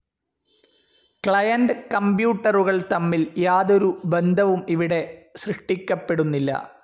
Client കമ്പ്യൂട്ടറുകൾ തമ്മിൽ യാതൊരു ബന്ധവും ഇവിടെ സൃഷ്ടിക്കപ്പെടുന്നില്ല.